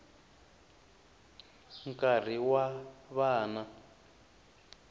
nkarhi wa vana